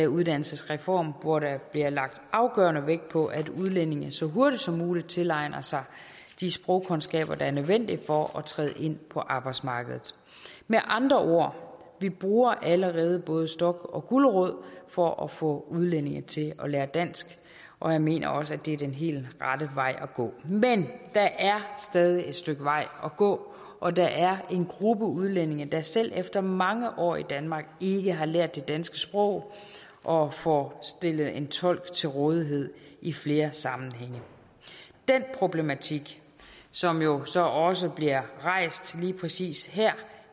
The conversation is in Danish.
uddannelsesreform hvor der bliver lagt afgørende vægt på at udlændinge så hurtigt som muligt tilegner sig de sprogkundskaber der er nødvendige for at træde ind på arbejdsmarkedet med andre ord vi bruger allerede både stok og gulerod for at få udlændinge til at lære dansk og jeg mener også at det er den helt rette vej at gå men der er stadig et stykke vej at gå og der er en gruppe udlændinge der selv efter mange år i danmark ikke har lært det danske sprog og får stillet en tolk til rådighed i flere sammenhænge den problematik som jo så også bliver rejst lige præcis her